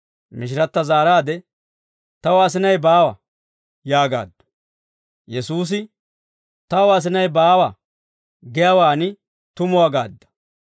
Mishiratta zaaraade, «Taw asinay baawa» yaagaaddu. Yesuusi, «Taw asinay baawa giyaawaan tumuwaa gaadda.